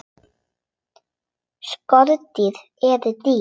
Skordýr eru dýr.